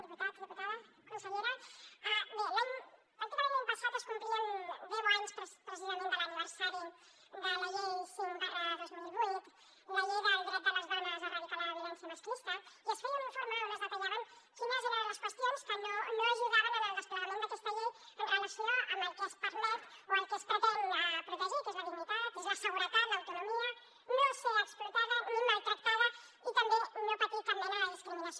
diputats diputades consellera bé pràcticament l’any passat es complien deu anys precisament de l’aniversari de la llei cinc dos mil vuit la llei del dret de les dones a erradicar la violència masclista i es feia un informe on es detallaven quines eren les qüestions que no ajudaven en el desplegament d’aquesta llei amb relació al que es permet o el que es pretén protegir que és la dignitat és la seguretat l’autonomia no ser explotada ni maltractada i també no patir cap mena de discriminació